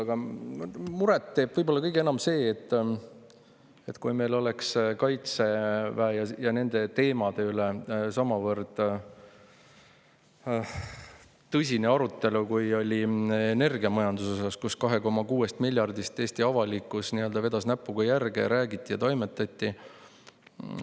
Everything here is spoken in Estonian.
Aga muret teeb võib-olla kõige enam see, et meil Kaitseväe ja nende teemade üle samavõrd tõsist arutelu, kui oli energiamajanduse üle, kus 2,6 miljardi euro kohta Eesti avalikkus vedas näpuga järge ja sellest räägiti.